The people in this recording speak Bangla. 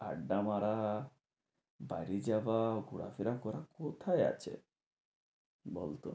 আড্ডা মারা, বাড়ি যাওয়া, ঘোড়া ফেরা করা, কোথায় আছে? বলতো